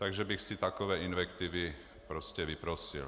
Takže bych si takové invektivy prostě vyprosil.